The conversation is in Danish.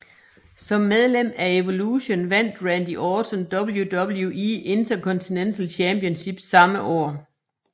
Som medlem af Evolution vandt Randy Orton WWE Intercontinental Championship samme år